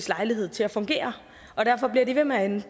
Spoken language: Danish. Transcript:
lejlighed til at fungere og derfor bliver de ved med at ende